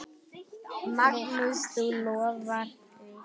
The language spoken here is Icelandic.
Magnús: Þú lofar því?